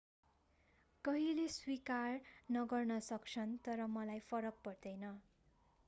केहीले स्वीकार नगर्न सक्छन् तर मलाई फरक पर्दैन